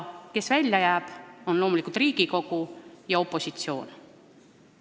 Kes välja jääb, on loomulikult Riigikogu ja opositsioon.